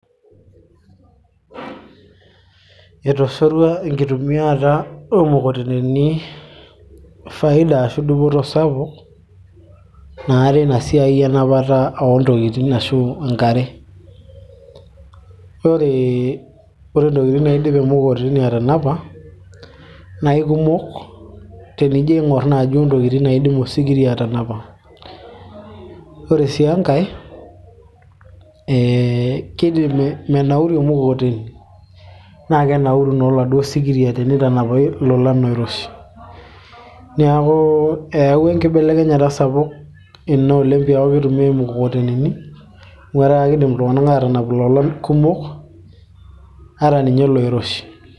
etoshorua enkitumiata oomukokoteni faida ashu dupoto sapuk naa teina siai enapata oontokitin ashu enkare ore intokitin naidim emukokoteni atanapa naa ikumok tenijo aing'orr naaji ontokitin naidim osikiria atanapa ore sii enkay ee kidim menauru emukokoteni naa kenauru naa oladuo sikiria tenitanapi ilolan oiroshi niaku eyawua enkibelekenyata sapuk ina oleng piaku kitumiay imukokoteni amu etaa kidim iltung'anak aatanap ilolan kumok ata ninye iloiroshi.